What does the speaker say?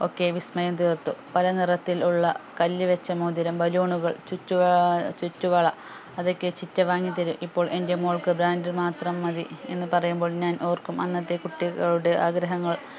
ഒക്കെ വിസ്‌മയം തീർത്തു പല നിറത്തിൽ ഉള്ള കല്ല് വെച്ച മോതിരം balloon കൾ ചുറ്റു ഏർ ചുറ്റുവള അത് ഒക്കെ ചിറ്റ വാങ്ങിത്തരും ഇപ്പോൾ എൻ്റെ മോൾക്ക് brand മാത്രം മതി എന്ന് പറയുമ്പോൾ ഞാൻ ഓർക്കും അന്നത്തെ കുട്ടികളുടെ ആഗ്രഹങ്ങൾ